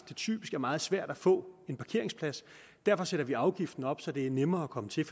det typisk er meget svært at få en parkeringsplads og derfor sætter man afgiften op så det er nemmere at komme til